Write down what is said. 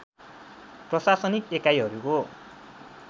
प्रशासनिक एकाइहरूको